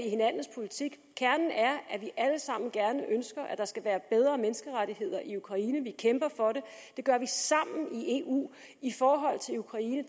i hinandens politik kernen er at vi alle sammen ønsker at der skal være bedre menneskerettigheder i ukraine vi kæmper for det det gør vi sammen i eu i forhold til ukraine